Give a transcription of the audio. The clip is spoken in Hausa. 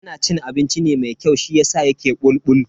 Yana cin abinci ne mai kyau shiyasa yake bulbul.